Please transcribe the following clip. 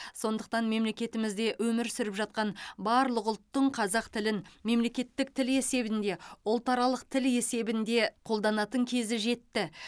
сондықтан мемлекетімізде өмір сүріп жатқан барлық ұлттың қазақ тілін мемлекеттік тіл есебінде ұлтаралық тіл есебінде қолданатын кезі жетті